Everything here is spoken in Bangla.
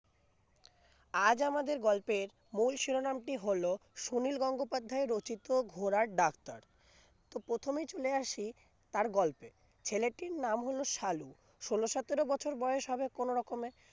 আজ আমাদের গল্পের মূল শিরোনামটি হলো সুনীল গঙ্গোপাধ্যায় রচিত ঘোড়ার ডাক্তার তো প্রথমে চলে আসি তার গল্পে ছেলেটির নাম হলো সালু ষোল্ল সতেরো বছর বয়স হবে কোনরকমে